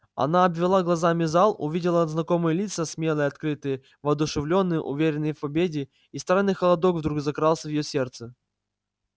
она обвела глазами зал увидела знакомые лица смелые открытые воодушевлённые уверенные в победе и странный холодок вдруг закрался в её сердце